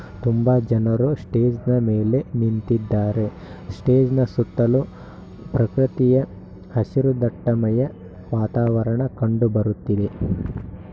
ತುಂಬ ಜನರು ಸ್ಟೇಜನ ಮೇಲೆ ನಿಂತಿದ್ದಾರೆ. ಸ್ಟೇಜ್ನ ಸುತ್ತಲೂ ಪ್ರಕೃತಿಯ ಹಸಿರು ದಟ್ಟಮಯ ವಾತಾವರಣ ಕಂಡುಬರುತ್ತಿದೆ.